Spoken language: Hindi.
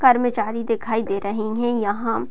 कर्मचारी दिखाई दे रहे है यहां।